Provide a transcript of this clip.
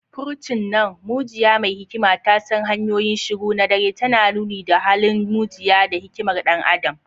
Furcin nan “mujiya mai hikima ta san hanyoyin shiru na dare” tana nuni da halin mujiya da hikimar ɗan adam.